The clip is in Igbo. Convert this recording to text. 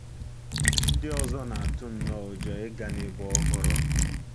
Ndị ọzọ na-atụ nnọọ ụjọ ịga n'ebe ọhụrụ.